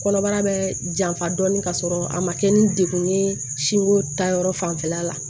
Kɔnɔbara bɛ janfa dɔɔni k'a sɔrɔ a ma kɛ ni degun ye sinko ta yɔrɔ fanfɛla la